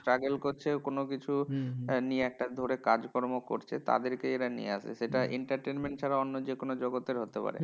Struggle করছে কোনোকিছু নিয়ে একটা ধরে কাজকর্ম করছে, তাদেরকেই এরা নিয়ে আসে। সেটা entertainment ছাড়া অন্য যেকোনো জগতের হতে পারে।